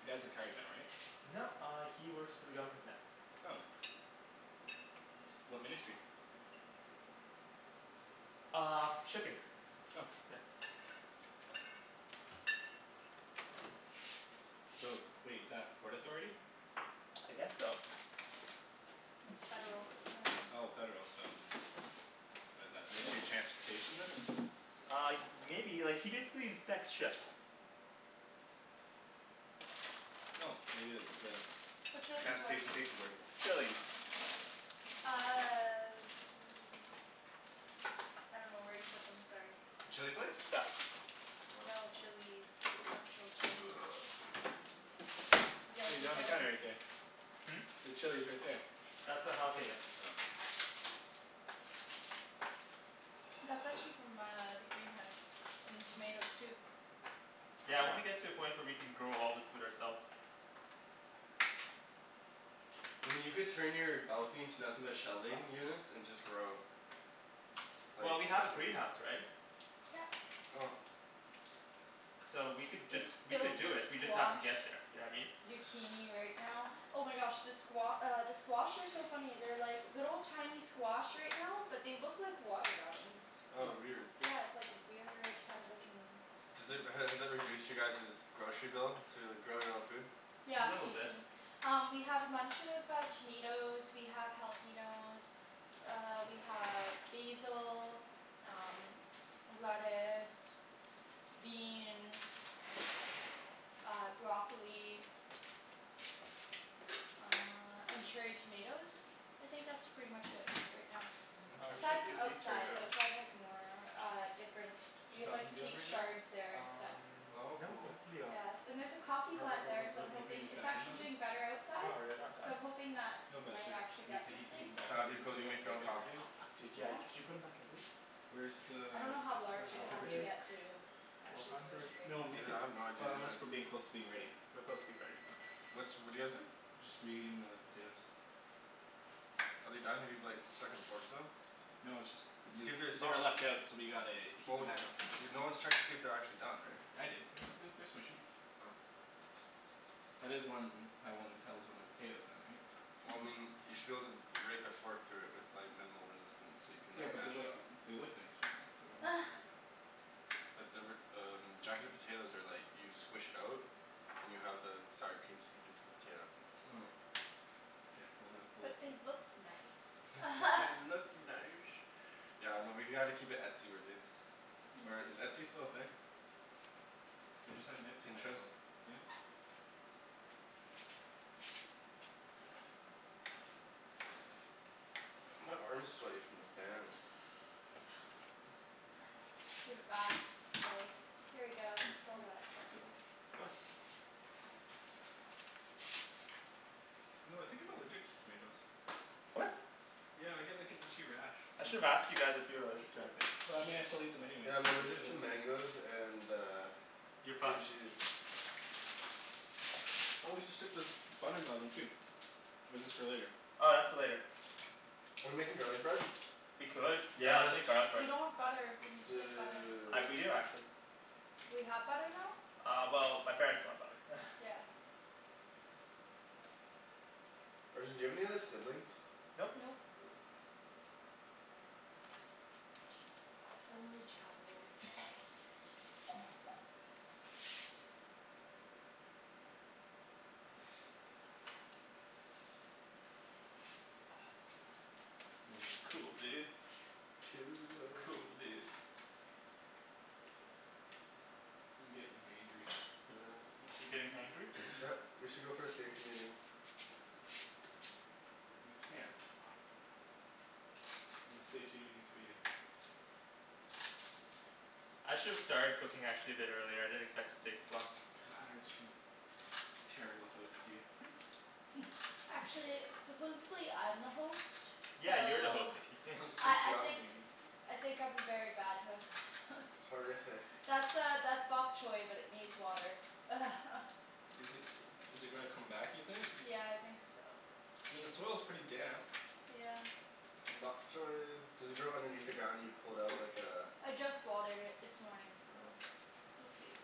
You dad's retired now right? No, uh he works for the government now. Oh. What ministry? Uh, shipping. Oh. Yeah. So, wait, is that Port Authority? I guess so. It's federal uh Oh, federal, so What is that, Ministry of Transportation then? Uh y- maybe, like he basically inspects ships. Oh, maybe it's the Whatcha lookin' for? Transportation Safety Board. Chilis. Uh I dunno where you put them, sorry. The chili flakes? Got it. Oh. No, chilis. Actual chilis. You guys There you we go, on the gotta counter right there. Hmm? The chili's right there. That's a jalapeno. Oh. That's actually from uh the greenhouse. And the tomatoes too. Yeah, I Cool. wanna get to a point where we can grow all this food ourselves. I mean you could turn your balcony into nothing but shelving units and just grow. Like Well, we have a Bushwick. greenhouse, right? Yep. Oh. So we could just, It's we could filled do with it, we just have to squash. get there, you know what I mean? Zucchini right now. Oh my gosh the squa- uh the squash are so funny. They're like little tiny squash right now but they look like watermelons. Oh weird. Yeah it's like weird kind of looking Does it, has it reduced you guys's grocery bill, to grow your own food? A Yeah, little bit. basically. Um we have a bunch of uh tomatoes, we have jalapenos uh we have basil, um lettuce beans uh, broccoli uh and cherry tomatoes? I think that's pretty much it right now. Oh, we should Aside Interesting. have from used these cherry outside. Outside has more uh different. We Should that have like oven be on sweet right now? chards there and stuff. Um, Oh no, cool. that can be off. Yeah. And there's a coffee Or are are plant there are so I'm aren't we putting hoping. these It's back in the actually oven? doing better No, outside. are you not So done? I'm hoping that No we but might they're actually we get have to heat something. heat them back up. That'd They've be been cool, do you sitting out make for your own like ever. coffee? Oh, fuck dude, yeah, Yeah. y- could you put them back in please? Where's the I dunno how Just large it has uh to temperature? get to Four actually do hundred. anything No though. make Yeah, it, I have no idea unless either. we're being closer to being ready. We're close to being ready. Okay. What's, what're you guys doing? Just reheating the potatoes. Are they done? Have you like stuck and forked them? No it's just, they See if they're they were soft. left out so we gotta heat Well them y- back up. you're, no one's checked to see if they're actually done, right? I did. They're they're they're smushy. Oh. That is one, how one tells when a potato's done right? Well Hmm. I mean, you should be able to rake a fork through it with like minimal resistance so you can Yeah like but they're mash it like, up. they look nice right now so I don't want to do that. But they were um, jacket potatoes are like you squish it out and you have the sour cream seep into the potato. Oh. K, well then, we'll But they look nice. But they look nice. Yeah, no, we gotta keep it etsy-worthy. Or is Etsy still a thing? They just had an Etsy Pinterest? national. Yeah. My arm's sweaty from this band. Give it back. It's like "Here you go, Hey it's I'm all gonna wet." steal one. You know, I think I'm allergic to tomatoes. What? Yeah I get like an itchy rash I should've sometimes. asked you guys if you were allergic to anything. But I mean I still eat them anyways Yeah, I'm cuz they're so allergic to delicious. mangoes and uh You're cream fucked. cheese. Oh we should stick this bun in the oven too. Or is this for later? Oh, that's for later. We're making garlic bread? We could. Yeah, let's Yes! make garlic We bread. don't have butter. We need to get butter. I d- we Dude. do actually. We have butter now? Uh well my parents bought butter. Yeah. Arjan, do you have any other siblings? Nope. Nope. Only child. Mm. Cool, dude. Cool. Cool, dude. I'm gettin' hangry You're getting hangry? We should go for a safety meeting. We can't. No safety meetings for you. I should've started cooking actually a bit earlier, I didn't expect to take this long. God, Arjan. Terrible host, you Actually, supposedly I'm the host, Yeah, you're the host so Nikki I Good I job, think Nikki. I think I'm a very bad host Horrific. That's uh that's bok choi but it needs water Is it is it gonna come back you think? Yeah, I think so. I mean the soil's pretty damp. Yeah. Bok choi. Does it grow underneath the ground and you pull it out like uh I just watered it this morning so we'll see.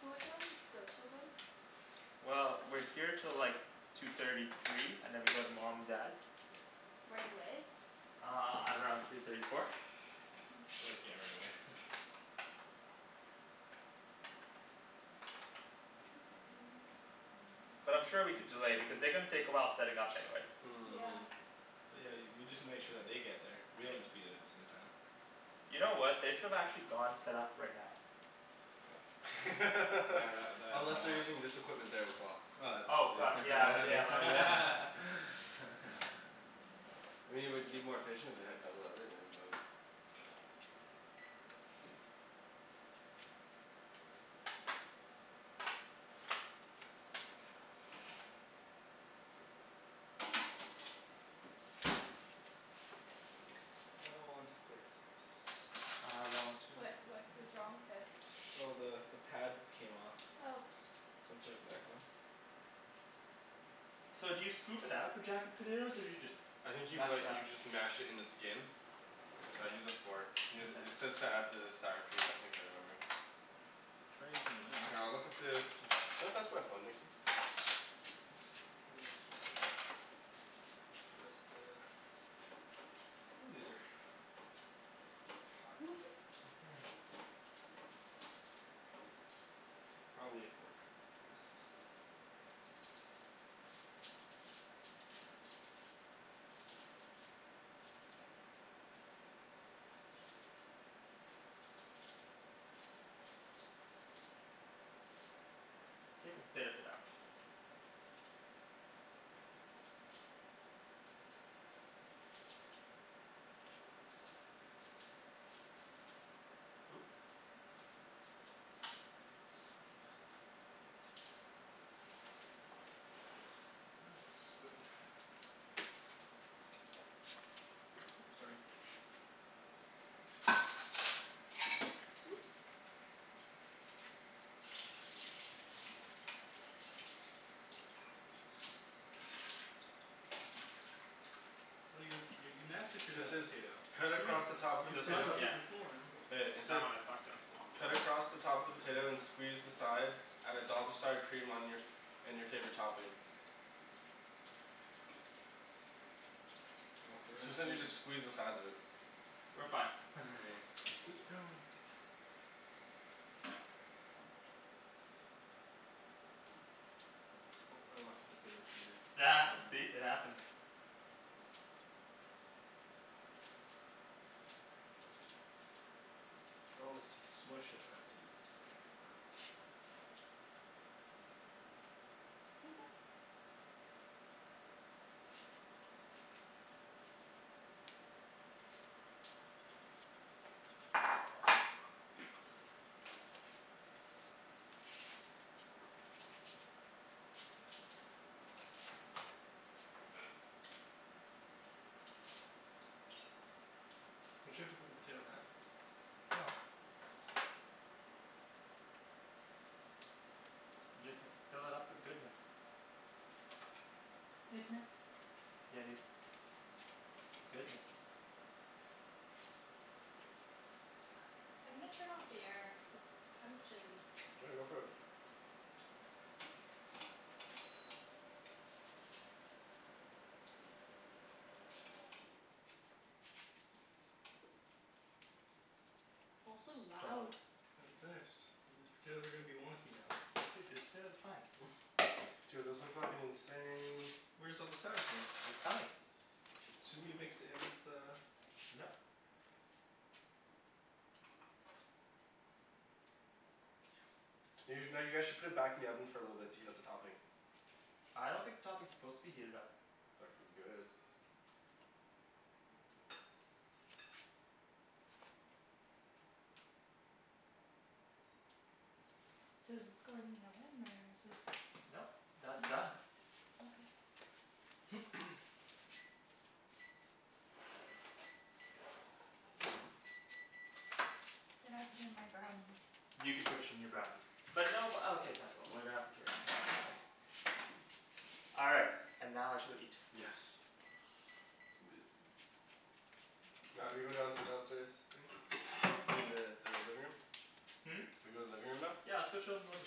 So what time does this go 'til then? Well, we're here till like two thirty, three, and then we go to mom and dad's. Right away? Uh, at around three thirty, four. So like, yeah, right away But I'm sure we could delay because they're gonna take a while setting up anyway. Yeah. But yeah, y- we just need to make sure that they get there. We Yeah. don't need to be there at the same time. You know what, they should've actually gone set up right now. Yeah, tha- that Unless they're that. using this equipment there as well. Oh, Oh it's fuck, du- yeah that yeah makes my b- yeah. I mean it would be more efficient if they had double everything, but I want to fix this. I want to What fill what was the wrong with it? Oh the the pad came off. Oh So I'm putting it back on. So do you scoop it out for jacket potatoes or do you just I think you m- mash it like up? you just mash it in the skin. Here I'd you use go. a fork. It Mkay. says to add the sour cream I think I remember. Try using a knife. Here, I'll look at the, can you pass my phone Nikki? Twist it. Ooh, these are hot. Mhm Hmm. Probably a fork would be best. Take a bit of it out. Oop- Oh, spoon. Oops, sorry. Oops. Oh you're you you massacred So it that says potato. cut What do you mean? across the top of the You were This one? supposed to potato. keep Yeah. the form. Hey, it That says one I fucked up. cut across the top of the potato and squeeze the sides. Add a dollop of sour cream on your, and your favorite topping. We're So it sounds gonna like make you it just squeeze the sides of it. We're fine Ooh, no Oh I lost a potato to your See? It happens. Oh if you smush it that's easier. There you go. Don't you have to put the potato back? No. I just have to fill it up with goodness. Goodness? Yeah dude. Goodness. I'm gonna turn off the air. It's kind of chilly. Yeah, go for it. Also loud. Dollop. I hadn't finished. These potatoes are gonna be wonky now. Dude, the potatoes are fine. Dude those look fuckin' insane. Where's all the sour cream? It's coming. Shouldn't we have mixed it in with the Nope. You no, you guys should put it back in the oven for a little bit to heat up the topping. I don't think the topping is supposed to be heated up. Fucking good. So does this go in the oven or is this Nope, that's done. Okay. Then I put in my brownies. You can put your new brownies. But no uh okay fine but we're gonna have to carry it, mom's away. All right, and now I shall eat. Yes. Now do we go down to the downstairs thing? I mean the the living room? Hmm? Do we go living room now? Yeah, let's go chill in the living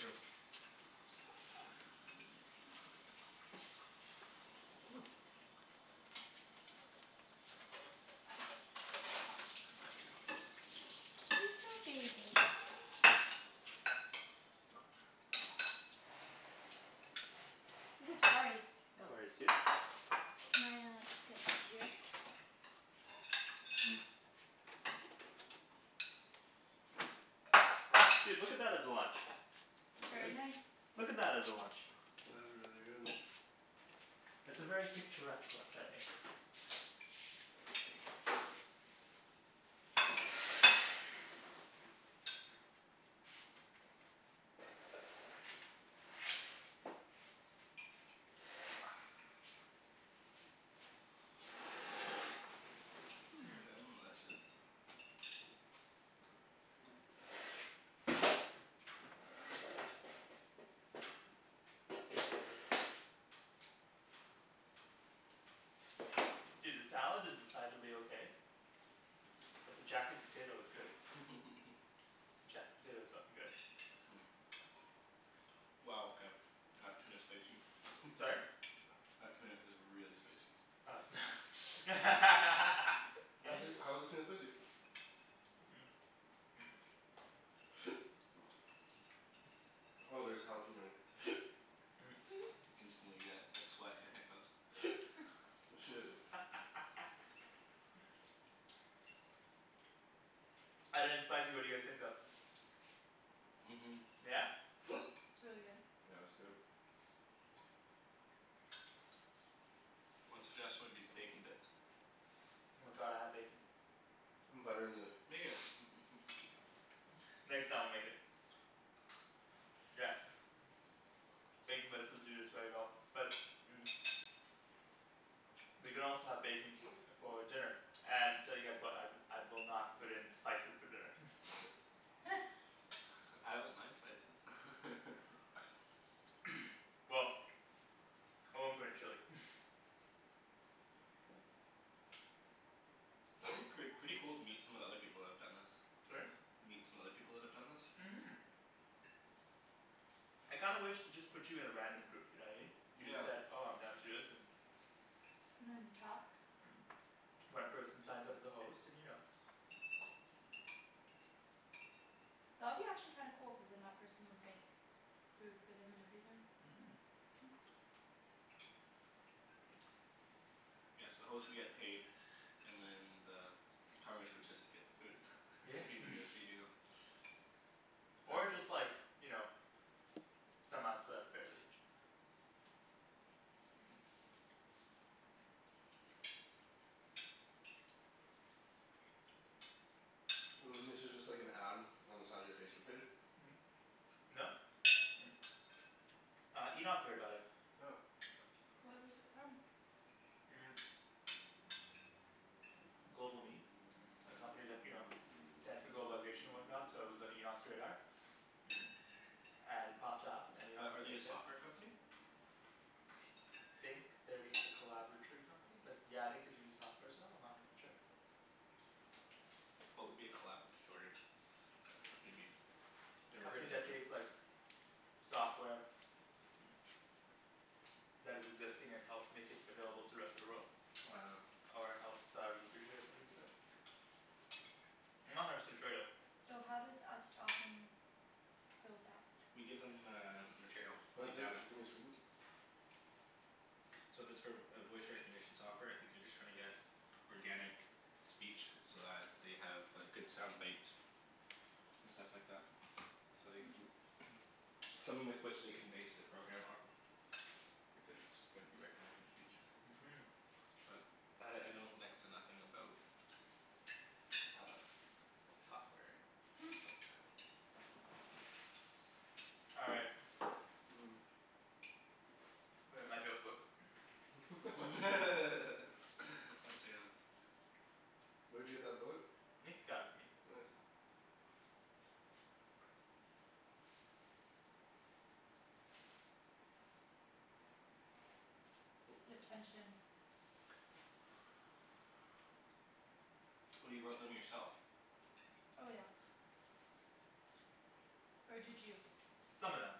room. Ooh. Little baby. Woo, sorry. No worries, dude. Can I uh just get in over here? Mm. Dude, look at that as a lunch. That's good. Very nice. Look at that as a lunch. That is really good. It's a very picturesque lunch, I think. Mmm. Hmm Delicious. Dude, this salad is decidedly okay. But the jacket potato is good. Jacket potato is fucking good. Wow okay. That tuna's spicy. Sorry? That tuna is really spicy. Oh so Why is it, how is the tuna spicy? Oh there's jalapeno in here. Instantly get a sweat and a hiccup. Shit. Other than spicy what do you guys think though? Mhm. Yeah? It's really good. Yeah it's good. One suggestion would be bacon bits. Oh my god, I have bacon. Butter in the Make it Next time I'll make it. Yeah. Bacon bits would do this very well but We can also have bacon for dinner and tell you guys what, I I will not put in spices for dinner I don't mind spices Well I won't put in chili It'd be pret- pretty cool to meet some of the other people that have done this. Sorry? Meet some other people that have done this? Mhm. I kinda wish they just put you in a random group, you know what I mean? You just Yeah. said "oh I'm down to do this" and talk One person signs up as a host and you know That would be actually kinda cool cuz then that person would make food for them and everything. Mhm. Hmm Yeah so the host would get paid and then the would just get the food. Yeah Not even gonna feed you. Or just like you know somehow split up fairly. This is just like an ad on the side of your Facebook page? No. Uh, Enoch heard about it. Oh. Where is it from? GlobalMe A company that, you know globalization and whatnot so it was on Enoch's radar. And it popped up and Enoch Are was are they a like "yeah." software company? I think they're just a collaboratory company but yeah I think do do softwares though, I'm not a hundred percent sure. What would be a collaboratory Uh a company be? A Never Never company heard heard that that that term. takes term. like software that is existing and helps make it available to rest of the world. Uh Ah. Or helps uh research it or something of the sort. I'm not a hundred percent sure though. So how does us talking build that? We give them uh material. Like data. gimme a spoon? So if it's for a voice recognition software I think they're just trying to get organic speech so that they have good sound bites. And stuff like that. So like Hmm. something with which they can base their program off of. If it's going to be recognizing speech. Mhm. But I I know next to nothing about uh software and Hmm. stuff like that. All right. Mm. Where's my joke book? Let's hear this. Where'd you get that book? Nick got it for me. Nice. Oh, The sorry. tension. Oh you wrote them yourself. Oh yeah. Or did you? Some of them.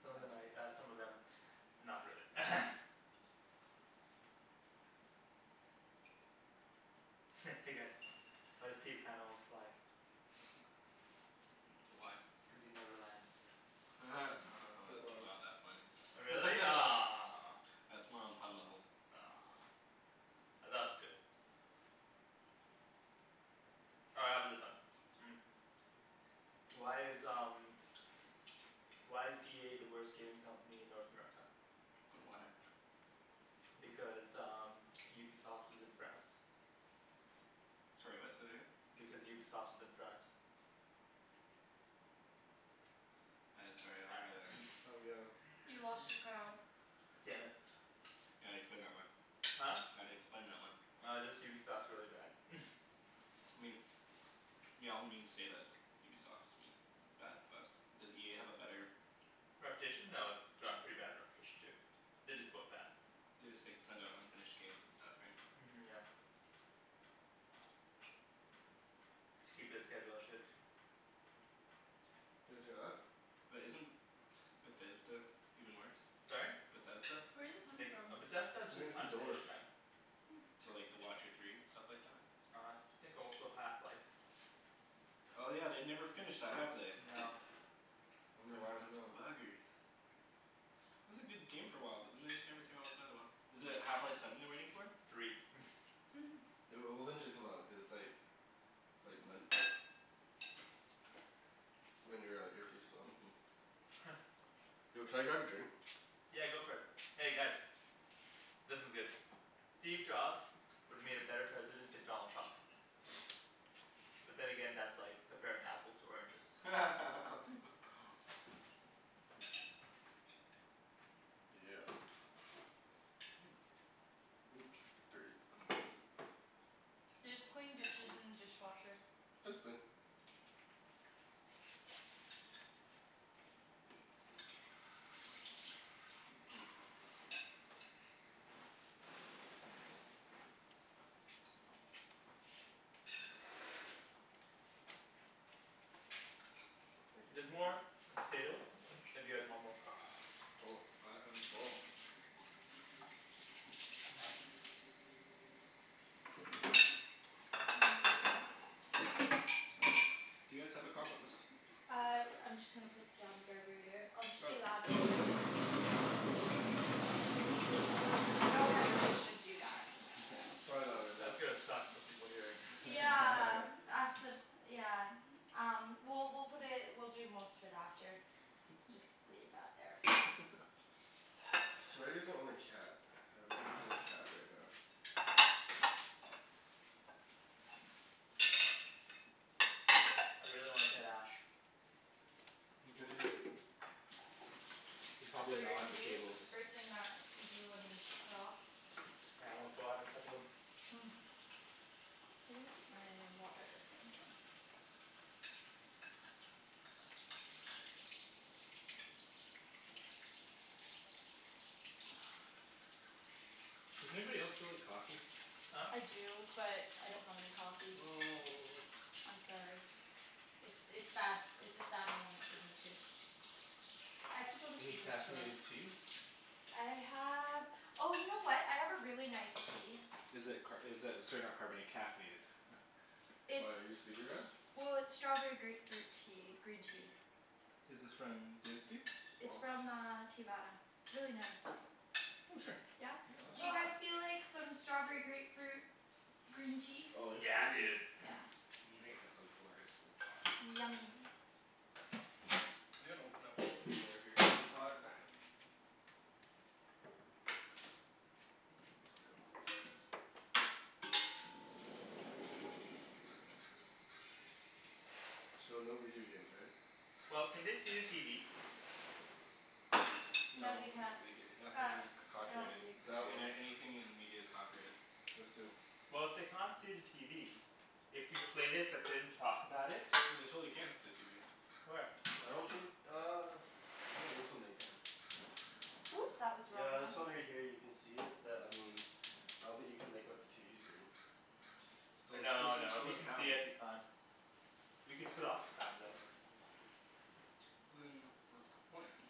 Some of them Oh. I uh some of them not really Hey guys, why does Peter Pan always fly? Why? Cuz he never lands. That's Wow. not that funny. Oh really? Aw That's more on pun level. Aw I thought it was good All right how about this one? Why is um why is EA the worst gaming company in North America? Why? Because um Ubisoft is in France. Sorry what? Say that again? Because Ubisoft is in France. I sorry I All don't get it. right Oh yeah. You lost your crowd. Damn it. You gotta explain that one. Huh? Gotta explain that one. Uh just Ubisoft's really bad I mean. Yeah all the memes say that it's Ubisoft is I mean bad but does EA have a better Reputation? No, it's Yeah they have a pretty bad reputation too. They're just both bad. They just like send out unfinished games and stuff right? Mhm yeah. To keep their schedule and shit. Did you guys hear that? But isn't Bethesda even worse? Sorry? Bethesda? Where is it I coming think s- . from? But Bethesda's I just think it's the door. unfinished kinda Hmm. So like The Watcher Three and stuff like that? I think also Half Life. Oh yeah, they've never finished that, have they? No. Wonder why, no. Those buggers. It was a good game for a while but then they just never came out with another one. Is it Half Life Seven they're waiting for? Three It'll it'll eventually come out, cuz it's like Like Ryan your uh earpiece fell out. Yo can I grab a drink? Yeah, go for it. Hey guys This one's good. Steve Jobs would've made a better president than Donald Trump. But then again, that's like comparing apples to oranges. Yeah. Oop, dirty. There's clean dishes in the dishwasher. It's clean. Thank you. There's more potatoes if you guys want more. I I'm full. Nice. Do you guys have a compost? I I'm just gonna put it down the garburator. I'll just be loud Oh. know if I should even do that. Probably That's not good, gonna no. suck for people hearing Yeah accid- yeah Um well we'll put it, we'll do most of it after. Just leave that there for now. It's too bad you guys don't own a cat. I would love to play with a cat right now. I really want a tight ash. Yeah. They're That's probably what you're not gonna the do? cables. The first thing that you do when we're off? Yeah I wanna go out and cuddle him. Hmm. Where's my water Does anybody else feel like coffee? Huh? I do but I don't have any coffee. Oh. I'm sorry. It's it's sad, it's a sad moment for me too. I have to go to Any Superstore. caffeinated tea? I have, oh you know what? I have a really nice tea. Is it car- is it sorry not carbona- caffeinated? Why, are you sleepy It's Ryan? well, it's strawberry grapefruit tea, green tea. Is this from David's Tea? It's from uh Teavana. It's really nice. Oh sure. Yeah Yeah? I'd love Do some. you guys feel like some strawberry grapefruit green tea? Oh, yes Yeah please. dude. Yeah. Make us a glorious little pot please. Yummy. I'm gonna open up this door here, it's really hot. So no video games, right? Well, can they see the TV? No No they can't. Uh. nothing c- copyrighted. That one. Any- anything in media is copyrighted. Just in. Well if they can't see the TV. If we played it but didn't talk about it. No they totally can see the TV. Where? I don't think uh I think on this one they can. Oops, that was the wrong Yeah, one. this one right here you can see it, but I mean I don't think you can make out the TV screen. But it's still No it's no. If still, you there's can see sound. it, we can't. We can put off the sound though. But then what's the point?